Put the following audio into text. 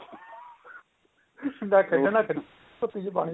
ਨਾ ਖੇਡਣ ਨਾ ਖੇਡ ਕੁਪੀ ਚ ਪਾਣੀ ਪਾ